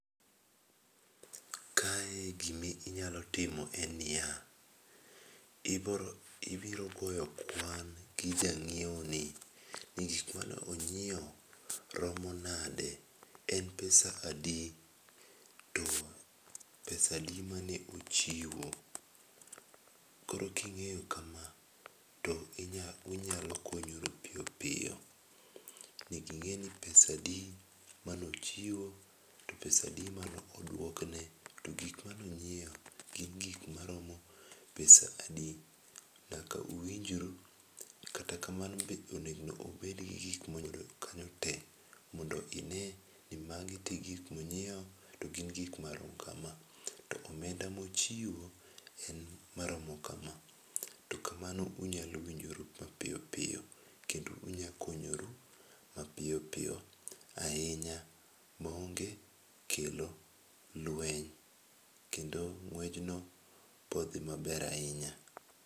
Kae gima inyalo timo en niya, ibiro ibiro goyo kwan gi jang'iew ni. Ni gik mane onyiew romo nade? En pesa adi? To pesa adi mane ochiwo? Koro king'eyo kama to unyalo konyoru piyo piyo. Nyaka ing'e ni pesa adi mane ochiwo. To pesa adi mane odwokne. To gik mane onyiew gin gik maromo pesa adi. Nyaka uwinjru kata kamano be onego obed gi gik moyudo kanyo te mondo ine ni magi to e gik monyiew to gin gik marom kama to omenda ma ochiwo en maromo kama. To kamano unyalo winjoru mapiyo piyo kendo unyalo konyoru mapiyo piyo ahinya maonge kelo lweny kendo ng'wejno bo dhi maber ahinya.